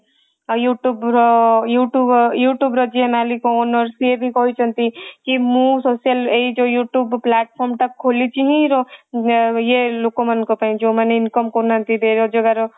ଆଉ youtube ର youtube ର ଯିଏ ମାଲିକ owner ସିଏ ବି କହିଛନ୍ତି କି ମୁଁ social ଏଇ ଯାଉ youtube platform ଟା ଖୋଲିଛି ହିଁ ଇଏ ଲୋକ ମାନଙ୍କ ପାଇଁ ଯୋଉ ମାନେ income କରୁନାହାନ୍ତି ବେ ରୋଜଗାର